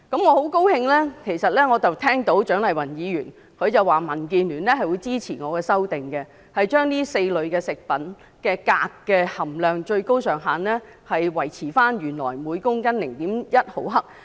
我很高興聽到蔣麗芸議員表示民主建港協進聯盟支持我的修訂，將這4類食物的鎘含量的最高上限維持原來每公斤 0.1 毫克。